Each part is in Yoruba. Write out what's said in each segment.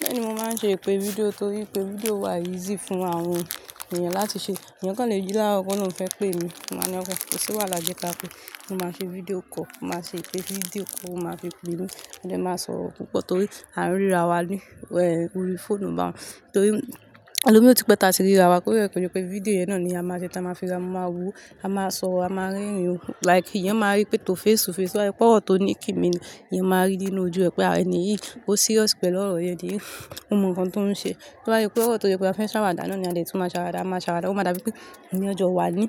Bẹ́ẹ̀ni, mo máa ń ṣe ìpè fídíò torí pé fídíò wà easy fún àwọn èèyàn láti ṣe. Ẹya kan lè jí lára kọ náà o fẹ́ pé mi, màá ní ọkọ, kò sí wàhálà jẹ́ ká pé mo máa ṣe fídíò call, mo máa ṣe ìpè fídíò kó o máa fi pè mí. Mo dé máa sọ ọ̀rọ̀ púpọ̀ torí a ń ríra wa ni orí fóònù ba, torí ẹlòmí ò tí pẹ́ ta tí ríra wa, kó rẹ̀ pẹ̀lú pé fídíò yẹn náà ni a máa sẹ́ tí a máa fi, a máa wò ó, a máa sọ̀ ọ́, a máa rí ẹ̀yin, like ìyẹn máa rí pé tó face to face. Tó bá yé pé ọ̀rọ̀ tó ní kí mi ni, ìyẹn máa rí nínú ojú ẹ pé àwọn ènìyàn yìí ó serious pẹ̀lú ọ̀rọ̀ yẹn ni, ó mọ nǹkan tó ń ṣe. Tó bá yé pé ọ̀rọ̀ tó yẹ kó fẹ́ ṣàwàdà náà ni a lè tún máa ṣàwàdà, a máa ṣàwàdà, ó máa dà bí pé èèyàn jọ wà ní,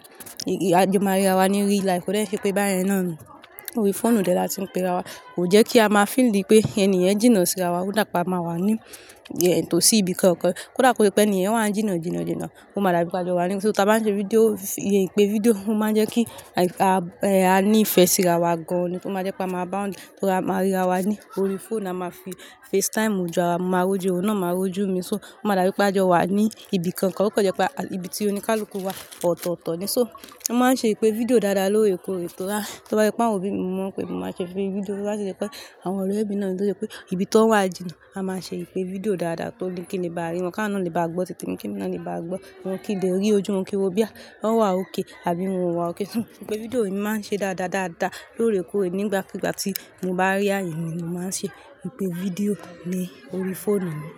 a jo máa ríra wa ni real life, kò dẹ̀ ṣe pé bá yin náà nù. Orí fóònù dè láti ń pe ra wa, kò jẹ́ kí a máa feel like pé ènìyàn jìnà síra wa, kò dà pa a máa wà ní ìyẹn tó sí ibi kan kan. Kò dà pé ènìyàn wà ń jìnà jìnà jìnà, ó máa dàrú pé a jọ wà ní. So tá bá ń ṣe fídíò, ìpè fídíò, ó máa ń jẹ́ kí a a ní ìfẹ́ síra wa gan an ni, kó máa jẹ́ pé a máa bound, tórí a máa ríra wa ni orí fóònù, a máa fi FaceTime jọra, mo máa rọ́jú òun náà, ó máa rọ́jú mi. So ó máa dàrú pé a jọ wà ní ibi kan kan, o kó jẹ́ pé ibi tí oníkálùkù wà ọ̀tọ̀ọ̀tọ̀ ni. So a máa ń ṣe ìpè fídíò dáadáa lóòrèkóòrè torí tó bá yẹ pé àwọn ò bí mi mọ̀ pé mo máa ṣe fún ìpè fídíò. Tó bá ṣe pé àwọn ọ̀rẹ́ mi náà tó ṣe pé ibi tí wọ́n wà jìnà, a máa ṣe ìpè fídíò dáadáa tó ní kí ni bá rí wọn ká náà ni bá gbọ́ tìtì mi, kí ni náà ni bá gbọ́, wọn kì í le rí ojú wọn kí wọ́n bí à bá wà ókè àbí wọn wà ókè. Ìpè fídíò mi máa ń ṣe dáadáa dáadáa lóòrèkóòrè nígbàkúgbà tí mo bá rí a yin mi ni mo máa ń ṣe ìpè fídíò ní orí fóònù mi.